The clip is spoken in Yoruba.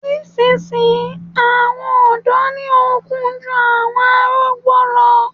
Ní ìsisìnyí àwọn ọ̀dọ́ ni ó n kú jù àwọn arúgbó lo